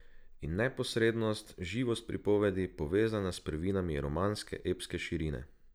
In neposrednost, živost pripovedi, povezana s prvinami romaneskne epske širine.